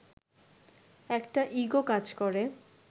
একটা ইগো কাজ করে